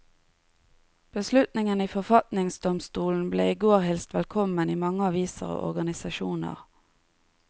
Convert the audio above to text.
Beslutningen i forfatningsdomstolen ble i går hilst velkommen i mange aviser og organisasjoner.